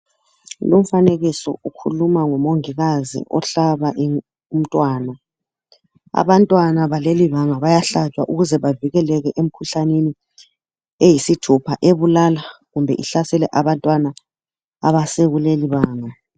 Lumfanekiso ukhuluma ngomongikazi ohlaba umntwana, abantwana balelibanga bayahlatshwa ukuze bavikeleke emkhuhlaneni eyisithupha ebulala kumbe ihlasele abantwana abasekuleli banga.